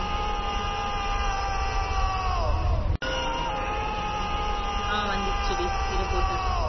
ஆஹ் வந்துடுச்சுடி இரு போட்டுடுறேன்